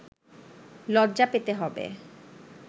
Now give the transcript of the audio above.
লজ্জা পেতে হবে